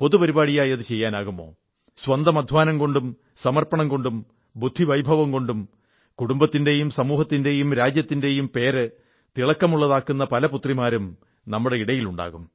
പൊതു പരിപാടിയായി അതു ചെയ്യാമോ സ്വന്തം അധ്വാനം കൊണ്ടും സമർപ്പണം കൊണ്ടും ബുദ്ധിവൈഭവം കൊണ്ടും കുടുംബത്തിന്റെയും സമൂഹത്തിന്റെയും രാജ്യത്തിന്റെയും പേര് തിളക്കമുള്ളതാക്കുന്ന പല പുത്രിമാരും നമ്മുടെ ഇടയിലുണ്ടാകും